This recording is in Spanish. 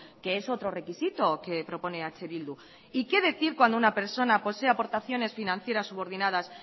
que es otro requisito que propone eh bildu y qué decir cuando una persona posee aportaciones financieras subordinadas